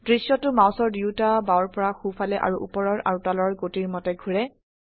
দৃশ্যটো মাউসৰ দুয়োটা বাওৰ পৰা সো ফালে আৰু উপৰৰ আৰু তলৰ গতিৰ মতে ঘোৰে